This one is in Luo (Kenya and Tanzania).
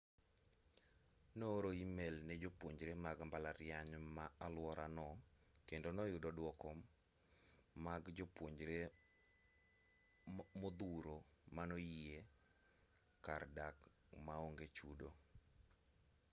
nooro e-mail ne jopuonjre mag mbalariany ma aluorano kendo noyudo dwoko mag jopuonjre modhuro manoyie miye kar dak maonge chudo